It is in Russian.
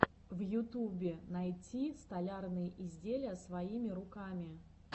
в ютубе найти столярные изделия своими руками